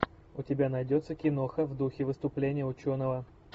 у тебя найдется киноха в духе выступления ученого